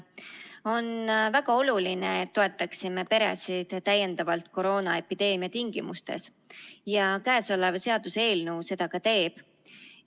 On väga oluline, et me peresid koroonaepideemia tingimustes täiendavalt toetaksime ja käesolev seaduseelnõu seda ka teeb.